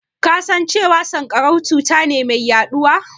Ka san cewa sanƙarau cuta ce mai yaɗuwa?